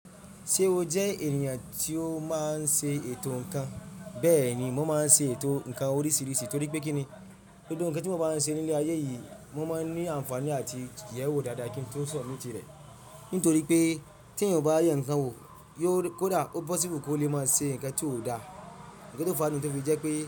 Ṣe o jẹ ènìyàn tí ó máa ń ṣe ètò ǹkan? Bẹ́ẹ̀ ni, mo máa ń ṣe ètò ǹkan oríṣiríṣi, torí pé kí ni? Gbogbo ǹkan tí wọ́n bá ń ṣe ní ilẹ̀ ayé yìí, mo máa ń ní ànfààní àti yẹ ẹ wo dáadáa kí ń tó sọ̀ mí tìrẹ. Nítorí pé tí èèyàn ò bá yàn ǹkan wò, yóò kó dá ó possible kó lè máa ṣe ǹkan tí ó dáa. Ǹkan tó fà á nìyẹn tó fi jẹ́ pé.